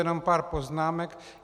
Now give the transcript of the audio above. Jenom pár poznámek.